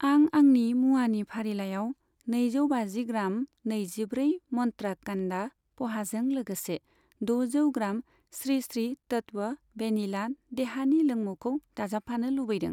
आं आंनि मुवानि फारिलाइयाव नैजौ बाजि ग्राम नैजिब्रै मन्त्रा कान्दा प'हाजों लोगोसे दजौ ग्राम स्रि स्रि तत्व भेनिला देहानि लोंमुखौ दाजाबफानो लुबैदों।